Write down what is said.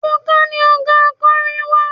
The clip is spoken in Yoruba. Ebuka ni ọ̀gá akọrin wa.